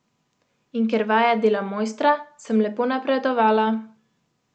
In ker vaja dela mojstra, sem lepo napredovala.